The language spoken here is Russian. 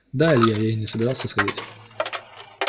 да илья и не собирался сходить